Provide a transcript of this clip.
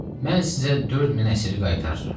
Mən sizə 4000 əsiri qaytarıram.